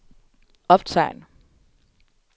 optegn